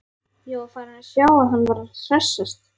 Ég var feginn að sjá að hann var að hressast!